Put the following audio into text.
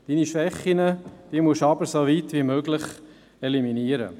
deine Schwächen musst du hingegen soweit wie möglich eliminieren.